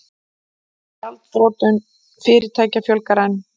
Gjaldþrotum fyrirtækja fjölgar enn